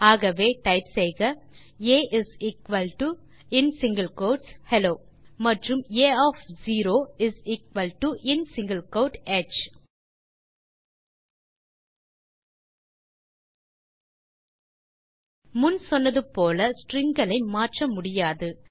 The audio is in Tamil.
ஆகவே டைப் செய்க ஆ ஹெல்லோ மற்றும் ஆ ஒஃப் 0 ஹ் முன் சொன்னது போல ஸ்ட்ரிங் களை மாற்ற முடியாது